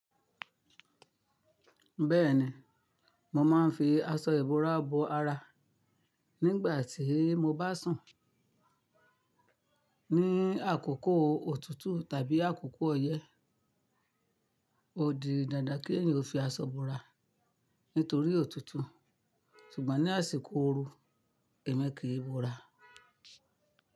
Bẹ́ẹ̀ni, mo máa ń fi aṣọ ìbora bo ara nígbà tí mo bá sùn. Ní àkókò òtútù tàbí àkókò ọyẹ́, ó di dandan kí èyàn fi aṣọ bora nítorí òtútù. Ṣùgbọ́n ní àsìkò ooru, èmi kì í bora.